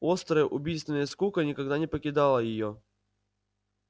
острая убийственная скука никогда не покидала её